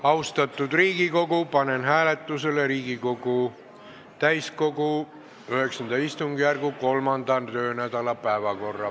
Austatud Riigikogu, panen hääletusele Riigikogu täiskogu IX istungjärgu 3. töönädala päevakorra.